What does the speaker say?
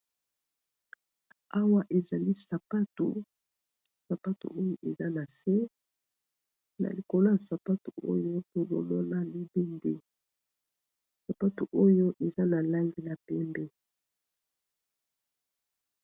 Awa ezali sapato, sapato oyo eza na se na likolo ya sapatu oyo tozomona libende sapatu oyo eza na langi ya pembe.